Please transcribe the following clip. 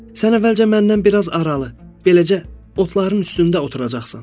Sən əvvəlcə məndən bir az aralı, beləcə otların üstündə oturacaqsan.